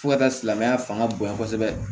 Fo ka taa silamɛya fanga bonyana kosɛbɛ